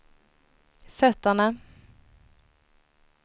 fötterna